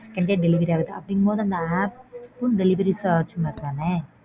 உடனே delivery ஆகுது. அப்படிங்கும்போது அந்த apps ம் delivery service மாறி தான.